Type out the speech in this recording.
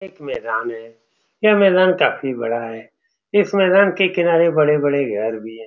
एक मैदान है। यह मैदान काफी बड़ा है। इस मैदान के किनार बड़े-बड़े घर भी है।